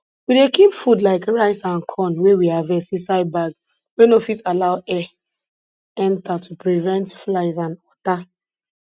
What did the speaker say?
we dey keep food like rice and corn wey we harvest inside bag wey no fit allow air enter to prevent flies and water